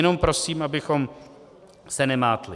Jenom prosím, abychom se nemátli.